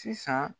Sisan